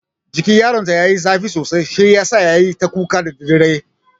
Jikin yaron ta yayi zafi sosai shi yasa yayi ta kuka da daddare.